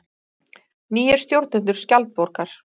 Nýir stjórnendur Skjaldborgar